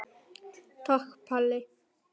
Takk Palli.